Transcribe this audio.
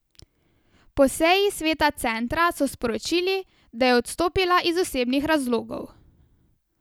Po seji sveta centra so sporočili, da je odstopila iz osebnih razlogov.